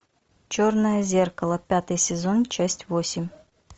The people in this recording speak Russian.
черное зеркало пятый сезон часть восемь